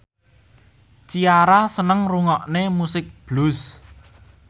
Ciara seneng ngrungokne musik blues